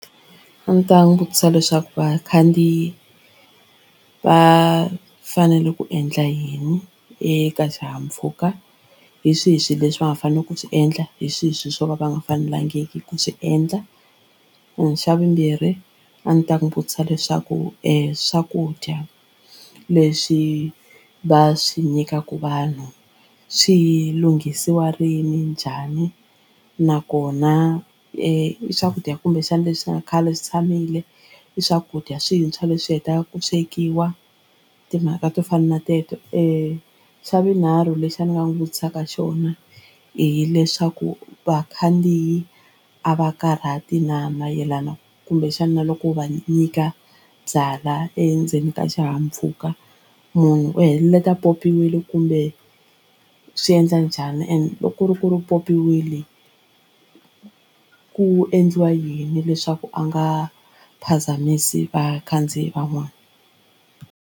A ni ta n'wi vutisa leswaku vakhandziyi va fanele ku endla yini eka xihahampfhuka hi swihi swilo leswi va fanela ku swi endla hi swihi swilo swo va va nga fanelangiki ku swi endla. Xa vumbirhi a ndzi ta n'wi vutisa leswaku swakudya leswi va swi nyikaka vanhu swi lunghisiwa rini njhani nakona i swakudya kumbexana leswi nga khale swi tshamile i swakudya swintshwa leswi hetaka ku swekiwa timhaka to fana na teto xa vunharhu lexi ni nga n'wi vutisaka xona hileswaku vakhandziyi a va karhati na mayelana kumbexana loko va nyika byalwa endzeni ka xihahampfhuka munhu u heleta a pyopyiwile kumbe u swi endla njhani and loko ku ri ku ri pyopyiwile ku endliwa yini leswaku a nga phazamisi vakhandziyi van'wana.